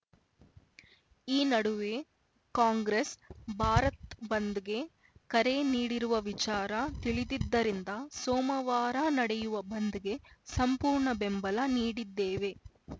ಈ ನಡುವೆ ಕಾಂಗ್ರೆಸ್‌ ಭಾರತ್ ಬಂದ್‌ಗೆ ಕರೆ ನೀಡಿರುವ ವಿಚಾರ ತಿಳಿದಿದ್ದರಿಂದ ಸೋಮವಾರ ನಡೆಯುವ ಬಂದ್‌ಗೆ ಸಂಪೂರ್ಣ ಬೆಂಬಲ ನೀಡಿದ್ದೇವೆ